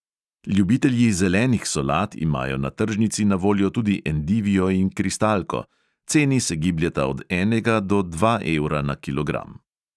Ljubitelji zelenih solat imajo na tržnici na voljo tudi endivijo in kristalko – ceni se gibljeta od enega do dva evra na kilogram.